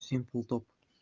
симпл топ